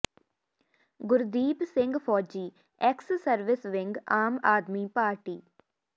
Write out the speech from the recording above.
ਗੁਰਦੀਪ ਸਿੰਘ ਫੌਜੀ ex service wing Aam Aadmi party